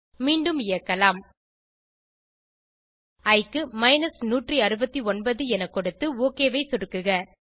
மீண்டும் இயக்கலாம் இ க்கு 169 என கொடுத்து ஒக் ஐ சொடுக்குக